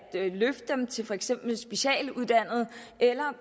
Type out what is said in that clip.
løfte dem til for eksempel specialuddannede og